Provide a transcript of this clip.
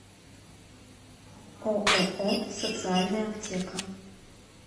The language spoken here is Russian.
ооо социальная аптека